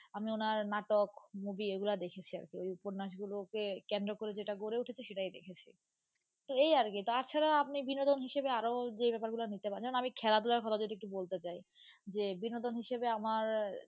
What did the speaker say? আমি ওনার নাটক movie এগুলা দেখেছি আর কী ঐ উপন্যাসগুলোকে কেন্দ্র করে যেটা গড়ে উঠেছে সেটাই দেখেছি, তো এই আর কি তাছাড়া আপনি বিনোদন হিসেবে আরও যে ব্যাপার গুলো পারেন, যেমন আমি খেলাধুলার কথা যদি একটু বলতে চাই. যে বিনোদন হিসেবে আমার,